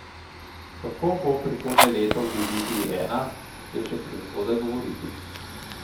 Kako bo prihodnje leto v diviziji I, je še prezgodaj govoriti.